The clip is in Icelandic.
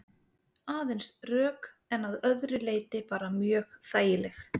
Aðeins rök en að öðru leyti bara mjög þægileg?